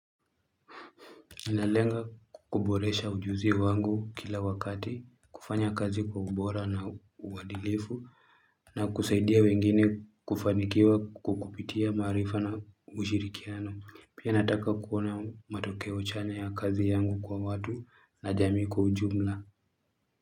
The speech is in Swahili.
Ninalenga kukuboresha ujuzi wangu kila wakati, kufanya kazi kwa ubora na uwadilifu, na kusaidia wengine kufanikiwa kukupitia maarifa na ushirikiano, pia nataka kuona matokeo chanya ya kazi yangu kwa watu na jamii kwa ujumla.